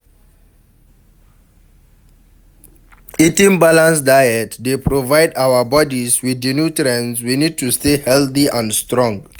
eating balanced diet dey provide our bodies with di nutrients we need to stay healthy and strong.